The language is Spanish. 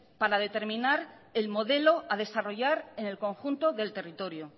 para determinar el modelo a desarrollar en el conjunto del territorio